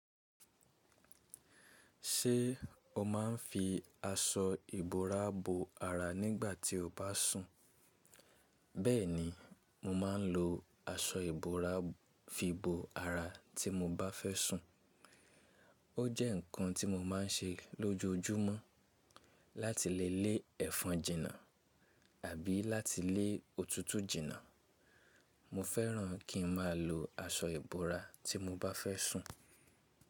Ṣé o máa ń fi aṣọ ìbora bo ara nígbà tí o bá sùn? Bẹ́ẹ̀ni, mo máa ń lo aṣọ ìbora fi bo ara tí mo bá fẹ́ sùn. Ó jẹ́ nǹkan tí mo máa ń ṣe lójoojúmọ́ láti lè lé ẹ̀fọn jìnnà àbí láti lé òtútù jìnnà. Mo fẹ́ràn kí n máa lo aṣọ ìbora tí mo bá fẹ́ sùn.